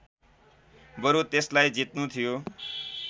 बरु त्यसलाई जित्नु थियो